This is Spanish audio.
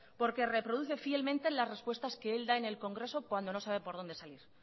porque reproduce fielmente las respuestas que él da en el congreso cuando no sabe por dónde salir